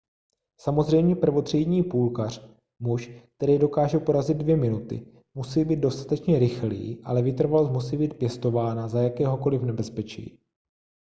samozřejmě prvotřídní půlkař muž který dokáže porazit dvě minuty musí být dostatečně rychlý ale vytrvalost musí být pěstována za jakéhokoliv nebezpečí